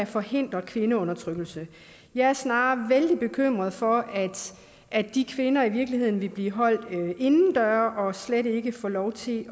forhindre kvindeundertrykkelse jeg er snarere vældig bekymret for at de kvinder i virkeligheden vil blive holdt indendøre og slet ikke får lov til